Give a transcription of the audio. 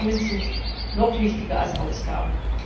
Einnahmen sind noch wichtiger als Ausgaben.